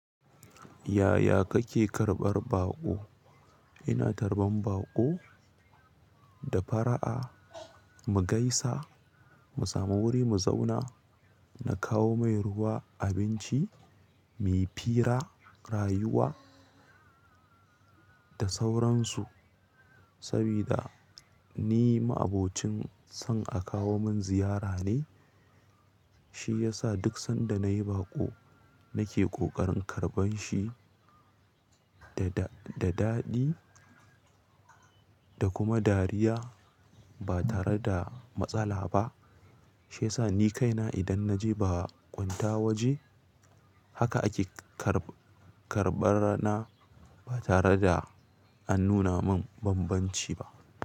Yaya kake karɓar baƙo? Ina tarban baƙo da fara'a, mu gaisa, mu samu wuri mu zauna, na kawo mai ruwa, abinci, muyi fira, rayuwa da sauransu. Sabida, ni ma'abocin son a kawo mun ziyara ne, shi yasa duk sanda na yi baƙo nake ƙoƙarin karɓan shi da daɗi da kuma dariya ba tare da matsala ba. Shiyasa ni kaina idan na je bakunta waje haka ake karɓar na ba tare da an nuna mun bambanci ba.